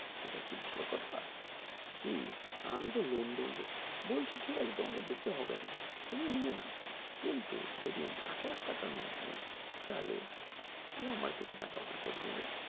এটা কি ভালো কথা কি আমি তো loan দেব বলছে কি ঠিক আছে তোমাকে দিতে হবে না তুমি নিয়ে নাও কিন্তু যদি আমি আট লাখ টাকার loan দেই তালে ও আমার থেকে টাকা বের করে নেবে